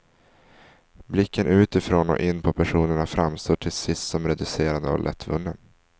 Blicken utifrån och in på personerna framstår till sist som reducerande och lättvunnen.